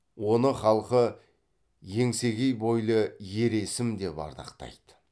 оны халқы еңсегей бойлы ер есім деп ардақтайды